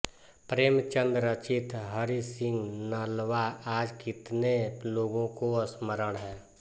प्रेमचंद रचित हरिसिंह नलवा आज कितने लोगों को स्मरण है